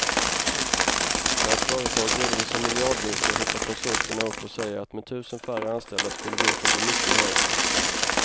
När ett företag redovisar miljardvinster hoppar konsulterna upp och säger att med tusen färre anställda skulle vinsten bli mycket högre.